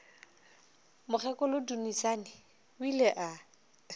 mokgekolo dunusani o ile a